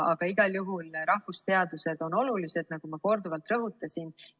Aga igal juhul on rahvusteadused olulised, nagu ma korduvalt rõhutasin.